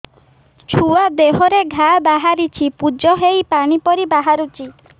ଛୁଆ ଦେହରେ ଘା ବାହାରିଛି ପୁଜ ହେଇ ପାଣି ପରି ବାହାରୁଚି